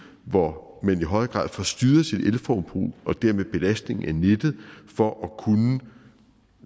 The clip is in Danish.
hvor man i højere grad får styret sit elforbrug og dermed belastningen af nettet for at kunne